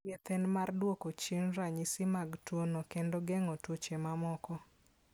Thieth en mar duoko chien ranyisi mag tuwono kendo geng'o tuoche mamoko.